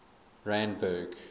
randburg